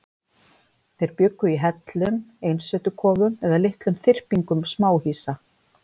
Þeir bjuggu í hellum, einsetukofum eða litlum þyrpingum smáhýsa.